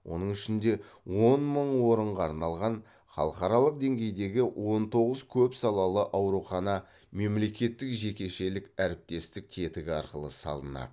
оның ішінде он мың орынға арналған халықаралық деңгейдегі он тоғыз көпсалалы аурухана мемлекеттік жекешелік әріптестік тетігі арқылы салынады